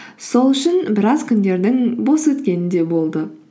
сол үшін біраз күндердің бос өткені де болды